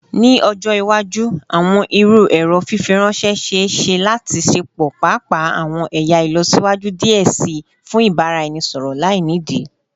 Ni ọjọ iwaju, awọn iru ẹrọ fifiranṣẹ ṣee ṣe lati ṣepọ paapaa awọn ẹya ilọsiwaju diẹ sii fun ibaraẹnisọrọ lainidi